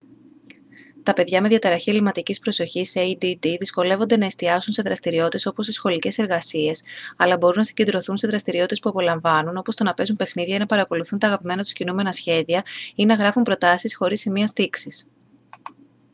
τα παιδιά με διαταραχή ελλειμματικής προσοχής add δυσκολεύονται να εστιάσουν σε δραστηριότητες όπως οι σχολικές εργασίες αλλά μπορούν να συγκεντρωθούν σε δραστηριότητες που απολαμβάνουν όπως το να παίζουν παιχνίδια ή να παρακολουθούν τα αγαπημένα τους κινούμενα σχέδια ή να γράφουν προτάσεις χωρίς σημεία στίξης